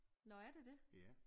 Nå er det det?